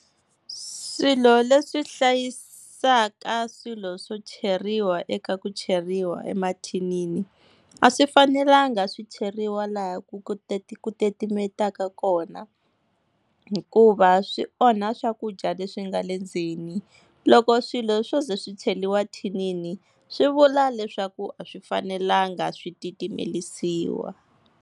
Swilo leswi hlayisaka swilo swo cheriwa eka ku cheriwa emathinini, a swi fanelanga swi cheriwa laha ku ku titimetaka kona hikuva swi onha swakudya leswi nga le ndzeni. Loko swilo swo ze swi cheriwa thinini swi vula leswaku a swi fanelanga swi titimelisiwa.